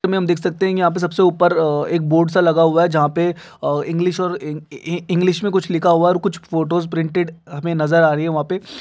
देख सकते है यहाँ पर सब से ऊपर एक बोर्ड सा लगा हुआ है जहाँ पे इंग्लिश में कुछ लिखा हुआ है और कुछ फोटोस प्रिंटेड नज़र आ रही है वहा पे --